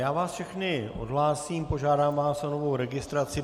Já vás všechny odhlásím, požádám vás o novou registraci.